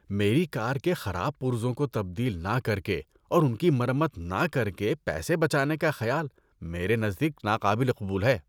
میری کار کے خراب پرزوں کو تبدیل نہ کر کے اور ان کی مرمت نے کر کے پیسے بچانے کا خیال میرے نزدیک ناقابل قبول ہے۔